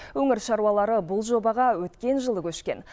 өңір шаруалары бұл жобаға өткен жылы көшкен